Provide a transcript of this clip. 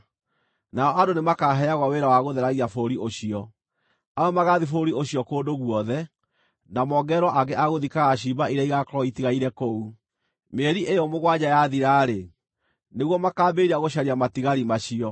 “ ‘Nao andũ nĩmakaheagwo wĩra wa gũtheragia bũrũri ũcio. Amwe magaathiĩ bũrũri ũcio kũndũ guothe, na mongererwo angĩ a gũthikaga ciimba iria igaakorwo itigaire kũu. Mĩeri ĩyo mũgwanja yathira-rĩ, nĩguo makaambĩrĩria gũcaria matigari macio.